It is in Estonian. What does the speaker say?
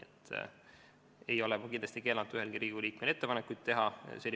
Ma ei ole kindlasti keelanud ühelgi Riigikogu liikmel ettepanekuid teha.